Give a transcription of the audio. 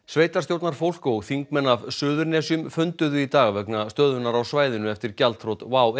sveitarstjórnarfólk og þingmenn af Suðurnesjum funduðu í dag vegna stöðunnar á svæðinu eftir gjaldþrot WOW